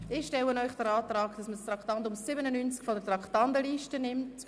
Ich stelle Ihnen den Antrag, das Traktandum 97 sei von der Traktandenliste zu nehmen.